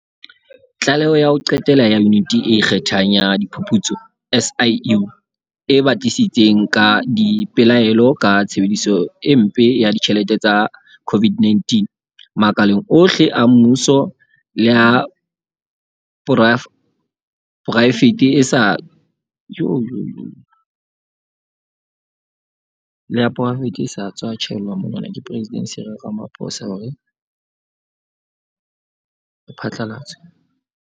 Tlaleho ya ho qetela ya Yuniti e Ikgethang ya Diphuputso, SIU, e batlisitseng ka dipelaelo ka tshebediso e mpe ya ditjhelete tsa COVID-19, makaleng ohle a mmuso le a poraefete e sa tswa tjhaelwa monwana ke Presidente Cyril Ramaphosa hore e phatla latswe.